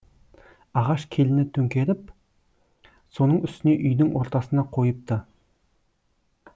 ағаш келіні төңкеріп соның үстіне үйдің ортасына қойыпты